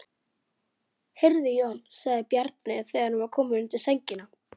Hvað er frunsa?